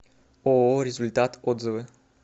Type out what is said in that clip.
ооо результат отзывы